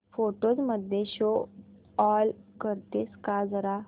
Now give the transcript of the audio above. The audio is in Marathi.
फोटोझ मध्ये शो ऑल करतेस का जरा